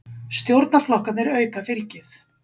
Stjórnarflokkarnir auka fylgið